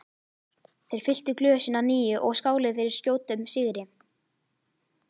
Þeir fylltu glösin að nýju og skáluðu fyrir skjótum sigri.